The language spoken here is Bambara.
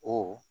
O